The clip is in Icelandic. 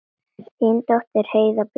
Þín dóttir Heiða Björk.